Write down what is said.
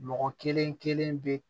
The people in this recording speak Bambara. Mɔgɔ kelen kelen be